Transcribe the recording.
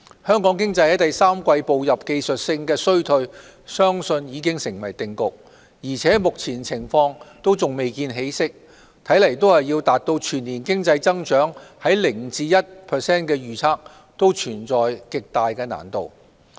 香港經濟在第三季步入技術性衰退相信已成定局，而且目前情況還未見起色，看來要達到全年經濟增長在 0% 至 1% 的預測，存在極大難度。